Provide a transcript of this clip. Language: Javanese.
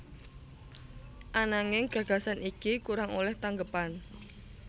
Ananging gagasan iki kurang olèh tanggepan